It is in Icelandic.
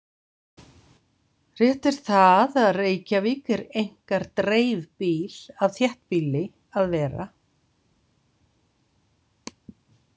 Rétt er það að Reykjavík er einkar dreifbýl af þéttbýli að vera.